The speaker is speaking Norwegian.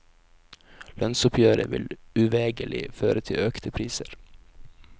Lønnsoppgjøret vil uvegerlig føre til økte priser.